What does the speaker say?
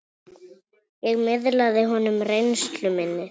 Ég miðlaði honum reynslu minni.